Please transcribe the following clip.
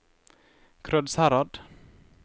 Krødsherad